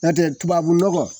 Nɔntɛ tubabu nɔgɔ